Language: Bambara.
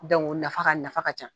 nafa ka nafa ka ca.